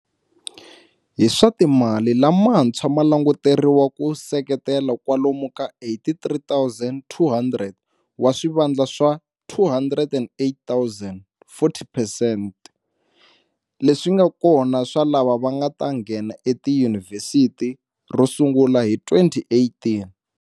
Hi swa timali lamantshwa ma languteriwa ku seketela kwalomu ka 83 200 wa swivandla swa 208 000, 40 percent, leswi nga kona swa lava nga ta nghena etiyunivhesiti ro sungula hi 2018.